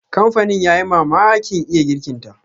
Kamfanin ya yi mamakin iya girkinta.